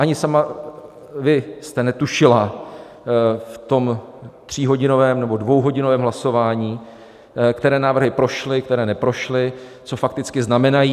Ani vy sama jste netušila v tom tříhodinovém nebo dvouhodinovém hlasování, které návrhy prošly, které neprošly, co fakticky znamenají.